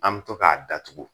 An be to k'a datugu